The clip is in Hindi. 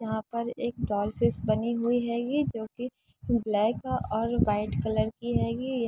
यहाँ पर एक टॉल फिश बनी हुई हैगी जोकि ब्लैक और वाइट कलर की हैगी --